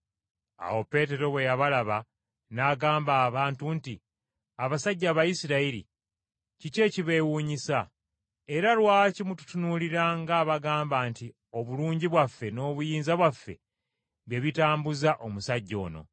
Awo Peetero bwe yabalaba n’agamba abantu nti, “Abasajja Abayisirayiri, kiki ekibeewuunyisa? Era lwaki mututunuulira ng’abagamba nti obulungi bwaffe n’obuyinza bwaffe bye bitambuzza omusajja ono?